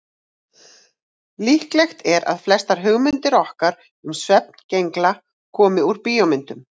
Líklegt er að flestar hugmyndir okkar um svefngengla komi úr bíómyndum.